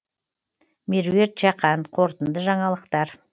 меруерт жақан қорытынды жаңалықтар